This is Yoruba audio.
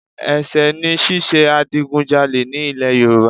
Ẹ̀sẹ̀ ni ṣíṣe adigunjalè ní ilẹ̀ Nàìjíríà